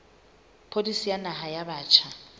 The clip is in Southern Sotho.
pholisi ya naha ya batjha